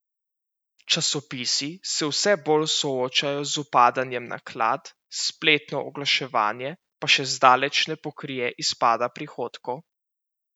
Časopisi se vse bolj soočajo z upadanjem naklad, spletno oglaševanje pa še zdaleč ne pokrije izpada prihodkov.